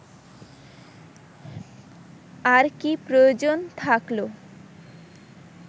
আর কী প্রয়োজন থাকলো